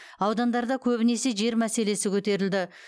аудандарда көбінесе жер мәселесі көтерілді